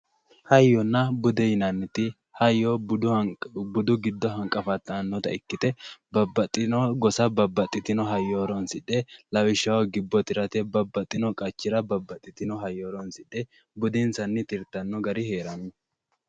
Hayyonna bude yinnanniti, hayyo budu giddo hanqafattanotta ikkite babbaxitino gosa babbaxitinoho hayyo horonsidhe lawishshaho gibbo tirate babbaxino qachira babbaxitino hayyo horonsidhe budinsanni tira dandiittanno.